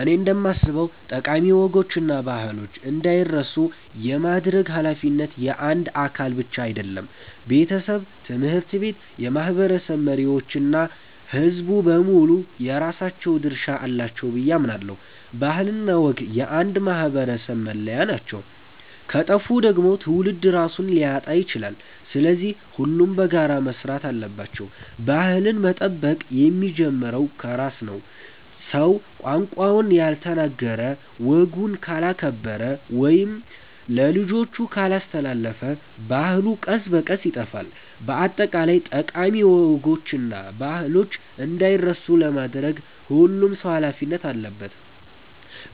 እኔ እንደማስበው ጠቃሚ ወጎችና ባህሎች እንዳይረሱ የማድረግ ኃላፊነት የአንድ አካል ብቻ አይደለም። ቤተሰብ፣ ትምህርት ቤት፣ የማህበረሰብ መሪዎች እና ሕዝቡ በሙሉ የራሳቸው ድርሻ አላቸው ብዬ አምናለሁ። ባህልና ወግ የአንድ ማህበረሰብ መለያ ናቸው፤ ከጠፉ ደግሞ ትውልድ ራሱን ሊያጣ ይችላል። ስለዚህ ሁሉም በጋራ መስራት አለባቸው። ባህልን መጠበቅ የሚጀምረው ከራስ ነው። ሰው ቋንቋውን ካልተናገረ፣ ወጉን ካላከበረ ወይም ለልጆቹ ካላስተላለፈ ባህሉ ቀስ በቀስ ይጠፋል። በአጠቃላይ ጠቃሚ ወጎችና ባህሎች እንዳይረሱ ለማድረግ ሁሉም ሰው ኃላፊነት አለበት።